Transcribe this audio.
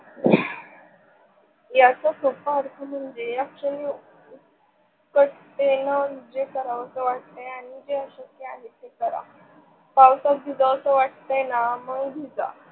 याचा सोपा अर्थ म्हणजे या क्षणी जे करवस वाटते, जे अशक्य आहे ते करा. पवासत भिजवस वाटते न मग भिजा